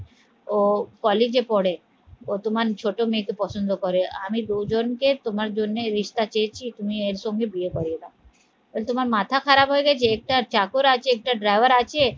ও কলেজে পড়েও তোমার ছোট মেয়েকে পছন্দ করে আমি দুজনকে তোমার জন্য রিশতা চেয়েছি তুমি এর সঙ্গে বিয়ে করিয়ে দাও তোমার মাথা খারাপ হয়ে গেছে, একটা চাকর আছে, একটা driver আছে